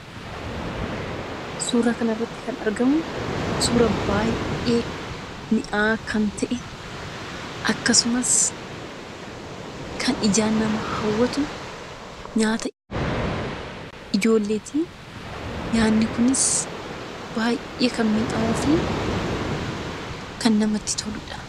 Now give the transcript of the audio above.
Suuraa kana irratti kan argamu, suura baayyee mi'aawaa kan ta'e akkasumas kan ijaan nama hawwatu; nyaata ijoolleeti. Nyaanni Kunis baayyee kan mi'aawuu fi kan namatti toludha.